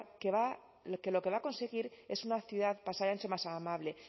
lo que va a conseguir es una ciudad pasai antxo más amable